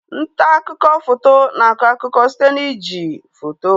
Ntaakụkọ foto na akọ akụkọ site na iji foto